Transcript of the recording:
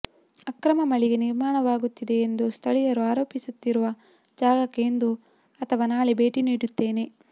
ಅಕ್ರಮ ಮಳಿಗೆ ನಿರ್ಮಾಣವಾಗುತ್ತಿದೆ ಎಂದು ಸ್ಥಳೀಯರು ಆರೋಪಿಸುತ್ತಿರುವ ಜಾಗಕ್ಕೆ ಇಂದು ಅಥವಾ ನಾಳೆ ಭೇಟಿ ನೀಡುತ್ತೇನೆ